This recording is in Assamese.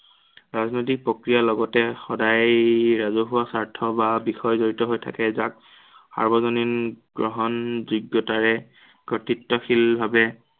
ৰাজনৈতিক প্ৰক্ৰিয়াৰ লগতে সদায় ৰাজহুৱা স্বাৰ্থ বা বিষয় জড়িত হৈ থাকে, যাক সাৰ্বজনীন গ্ৰহণযোগ্য়তাৰে কৰ্তৃত্বশীল ভাৱে